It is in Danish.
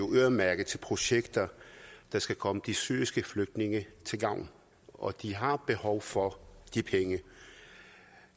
øremærket til projekter der skal komme de syriske flygtninge til gavn og de har behov for de penge